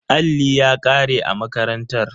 Alli ya kare a makarantar.